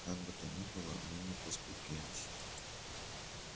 как бы то ни было мы не поскупились